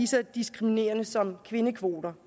så diskriminerende som kvindekvoter